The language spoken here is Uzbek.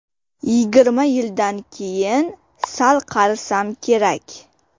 Yigirma yildan keyin sal qarisam kerak.